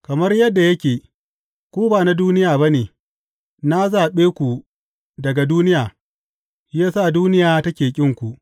Kamar yadda yake, ku ba na duniya ba ne, na zaɓe ku daga duniya, shi ya sa duniya take ƙinku.